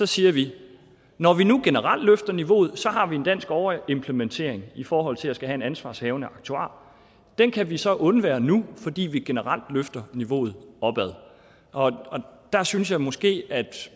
siger vi når vi nu generelt løfter niveauet har vi en dansk overimplementering i forhold til at skulle have en ansvarshavende aktuar den kan vi så undvære nu fordi vi generelt løfter niveauet og der synes jeg måske at